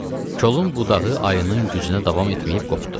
Kolun budağı ayının gücünə davam etməyib qopdu.